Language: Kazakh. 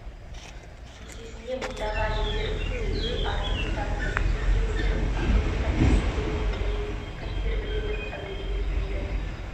енді мынаған қараңыз жолаушылар көлігінің артқы есігінен емін-еркін кіріп орындарына жайғасады екі орта бөлінген еркектер алдыңғы